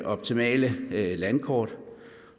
optimale landkort